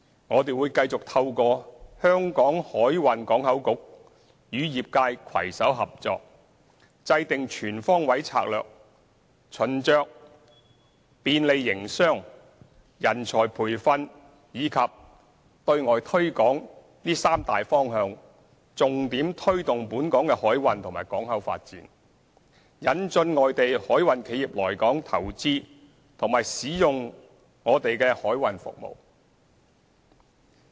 我們會繼續透過香港海運港口局與業界攜手合作，制訂全方位策略，循着"便利營商"、"人才培訓"及"對外推廣"三大方向，重點推動本港的海運及港口發展，引進外地海運企業來港投資和使用我們的海運服務。